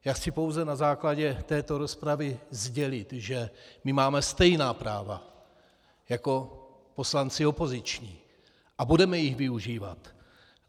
Já chci pouze na základě této rozpravy sdělit, že my máme stejná práva jako poslanci opoziční a budeme jich využívat.